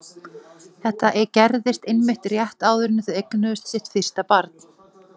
Þetta gerðist einmitt rétt áður en þau eignuðust sitt fyrsta barn.